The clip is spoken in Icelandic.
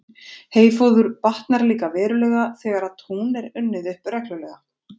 Heyfóður batnar líka verulega, þegar tún er unnið upp reglulega.